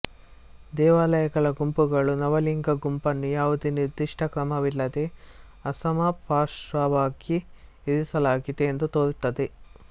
ದೇವಾಲಯಗಳ ಗುಂಪುಗಳು ನವಲಿಂಗ ಗುಂಪನ್ನು ಯಾವುದೇ ನಿರ್ದಿಷ್ಟ ಕ್ರಮವಿಲ್ಲದೆ ಅಸಮಪಾರ್ಶ್ವವಾಗಿ ಇರಿಸಲಾಗಿದೆ ಎಂದು ತೋರುತ್ತದೆ